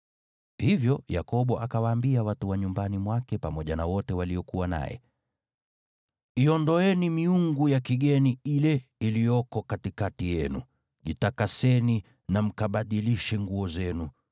Hivyo Yakobo akawaambia watu wa nyumbani mwake pamoja na wote waliokuwa naye, “Iondoeni miungu ya kigeni ile iliyoko katikati yenu, jitakaseni na mkabadilishe nguo zenu.